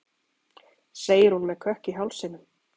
segir hún með kökk í hálsinum.